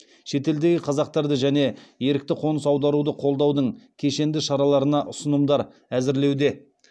шетелдегі қазақтарды және ерікті қоныс аударуды қолдаудың кешенді шараларына ұсынымдар әзірлеуде